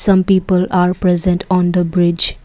some people are present on the bridge.